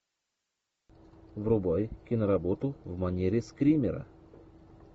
врубай киноработу в манере скримера